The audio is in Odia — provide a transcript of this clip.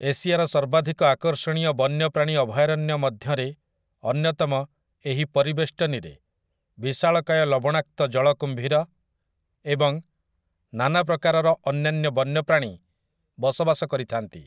ଏସିଆର ସର୍ବାଧିକ ଆକର୍ଷଣୀୟ ବନ୍ୟପ୍ରାଣୀ ଅଭୟାରଣ୍ୟ ମଧ୍ୟରେ ଅନ୍ୟତମ ଏହି ପରିବେଷ୍ଟନୀରେ ବିଶାଳକାୟ ଲବଣାକ୍ତ ଜଳ କୁମ୍ଭୀର ଏବଂ ନାନାପ୍ରକାରର ଅନ୍ୟାନ୍ୟ ବନ୍ୟପ୍ରାଣୀ ବସବାସ କରିଥାନ୍ତି ।